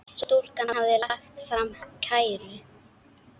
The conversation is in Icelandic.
Stúlkan hafði lagt fram kæru.